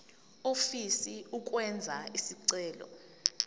ofisa ukwenza isicelo